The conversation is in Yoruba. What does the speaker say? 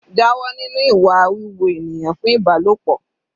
Jáwọ́ nínú ìwà wíwo ènìyàn fún Ìbálòpọ̀.